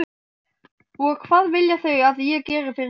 Og hvað vilja þau að ég geri fyrir þau?